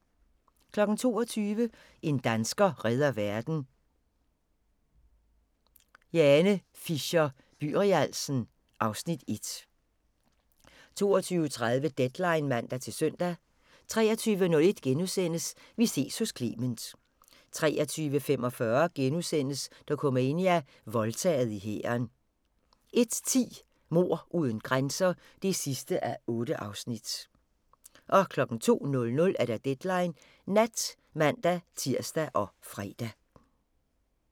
22:00: En dansker redder verden – Jane Fisher-Byrialsen (Afs. 1) 22:30: Deadline (man-søn) 23:01: Vi ses hos Clement * 23:45: Dokumania: Voldtaget i hæren * 01:10: Mord uden grænser (8:8) 02:00: Deadline Nat (man-tir og fre)